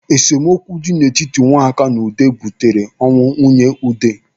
Esemokwu dị n'etiti Nwaka na Ude butere ọnwụ nwunye Ude.